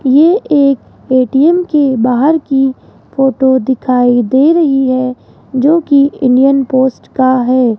ये एक ए_टी_एम के बाहर की फोटो दिखाई दे रही है जोकि इंडियन पोस्ट का है।